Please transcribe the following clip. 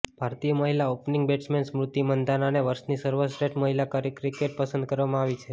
ભારતીય મહિલા opening batsman Smriti મંધાનાને વર્ષની સર્વશ્રેષ્ઠ મહિલા ક્રિકેટર પસંદ કરવામાં આવી છે